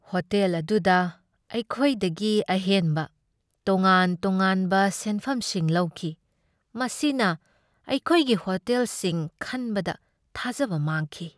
Hotel ꯑꯗꯨꯗ ꯑꯩꯈꯣꯏꯗꯒꯤ ꯑꯍꯦꯟꯕ ꯇꯣꯉꯥꯟ ꯇꯣꯉꯥꯟꯕ ꯁꯦꯟꯐꯝꯁꯤꯡ ꯂꯧꯈꯤ, ꯃꯁꯤꯅ ꯑꯩꯈꯣꯏꯒꯤ ꯍꯣꯇꯦꯜꯁꯤꯡ ꯈꯟꯕꯗ ꯊꯥꯖꯕ ꯃꯥꯡꯈꯤ꯫